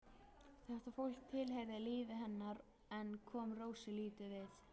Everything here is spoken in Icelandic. Þetta fólk tilheyrði lífi hennar en kom Rósu lítið við.